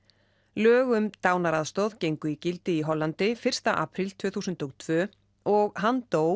lög um dánaraðstoð gengu í gildi í Hollandi fyrsta apríl tvö þúsund og tvö og hann dó